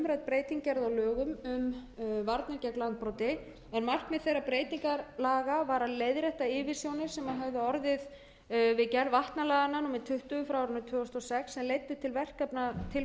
breyting gerð lögum um varnir gegn landbroti en markmið þeirra breytingalaga var að leiðrétta yfirsjónir sem höfðu orðið við gerð vatnalaganna númer tuttugu tvö þúsund og sex sem leiddu til verkefnatilflutnings frá